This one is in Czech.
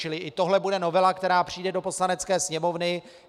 Čili i tohle bude novela, která přijde do Poslanecké sněmovny.